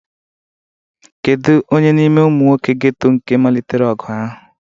Kedu onye n'ime ụmụ nwoke geto nke malitere ọgụ ahụ?